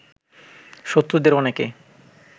শত্রুদের অনেকে